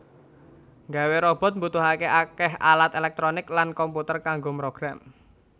Nggawé robot mbutuhaké akéh alat éléktronik lan komputer kanggo mrogram